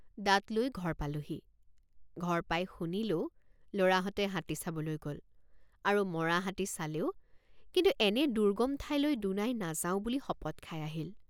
দাঁত লৈ ঘৰ পালোঁহি। ঘৰ পাই শুনিলোঁ লৰাহঁতে হাতী চাবলৈ গল আৰু মৰা হাতী চালেও কিন্তু এনে দুৰ্গম ঠাইলৈ দুনাই নাযাওঁ বুলি শপত খাই আহিল।